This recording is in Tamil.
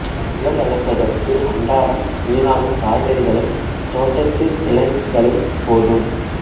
முயல் வளர்ப்பதற்கு அன்றாடம் வீணாகும் காய்கறிகளும் தோட்டத்து இலைகளும் போதும்